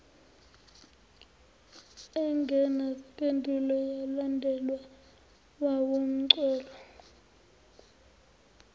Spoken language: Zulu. engenazimpendulo yalandelwa wuzamcolo